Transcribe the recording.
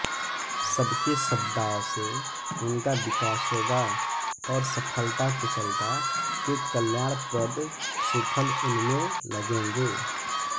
सबके सद्भाव से उनका विकास होगा और सफलताकुशलता के कल्याणप्रद सुफल उनमें लगेंगे